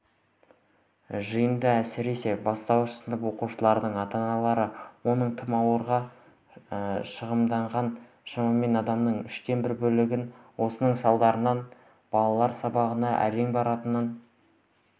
жиында әсіресе бастауыш сынып оқушыларының ата-аналары оның тым ауырлығына шағымданған шамамен адамның үштен бір бөлігі осының салдарынан баланың сабағына әрең баратынын